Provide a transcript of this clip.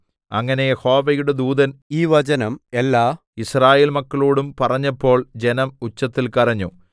അങ്ങനെ യഹോവയുടെ ദൂതൻ ഈ വചനം എല്ലാ യിസ്രായേൽമക്കളോടും പറഞ്ഞപ്പോൾ ജനം ഉച്ചത്തിൽ കരഞ്ഞു